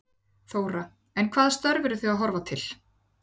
Þóra: En hvaða störf eru þið að horfa til?